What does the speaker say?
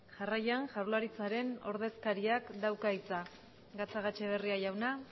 jarraian jaurlaritzaren ordezkariak dauka hitza gatzagetxebarria jauna